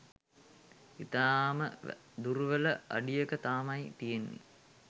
ඉතාම දුර්වල අඩියක තමයි තියෙන්නේ.